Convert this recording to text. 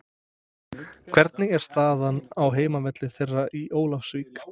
Hvernig er staðan á heimavelli þeirra í Ólafsvík?